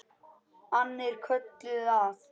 Annir kölluðu að.